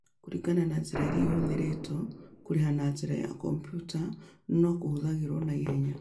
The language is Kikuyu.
Kũringana na njĩra ĩrĩa ĩhũthĩrĩtwo, kũrĩha na njĩra ya kompiuta no kũhũthagĩrũo o na ihenya.